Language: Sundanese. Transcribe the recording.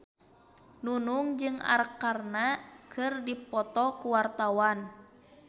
Nunung jeung Arkarna keur dipoto ku wartawan